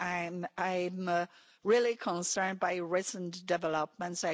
I'm really concerned by recent developments.